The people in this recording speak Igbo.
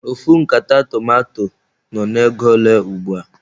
Ofu nkata tomanto nọ n'ego ole ugbua?